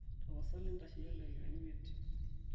tapasali ntasheyie ildakikani imiet